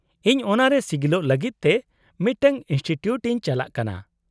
-ᱤᱧ ᱚᱱᱟᱨᱮ ᱥᱤᱜᱤᱞᱚᱜ ᱞᱟᱹᱜᱤᱫ ᱛᱮ ᱢᱤᱫᱴᱟᱝ ᱤᱱᱥᱴᱤᱴᱤᱭᱩᱴ ᱤᱧ ᱪᱟᱞᱟᱜ ᱠᱟᱱᱟ ᱾